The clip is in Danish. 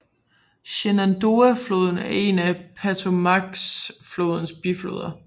Shenandoahfloden er en af Potomacflodens bifloder